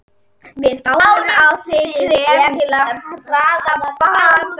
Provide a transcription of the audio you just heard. Við bárum á þig krem til að hraða batanum.